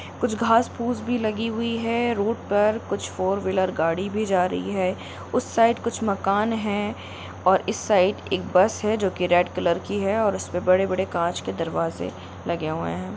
कुछ घास-फूस भी लगी हुई है रोड पर कुछ फोर‌‌ व्हीलर गाड़ी भी जा रही है उस साइड कुछ मकान है और इस साइड एक बस है जो की रेड कलर की है और उस पर बड़े-बड़े कांच के दरवाजे लगे हुए हैं।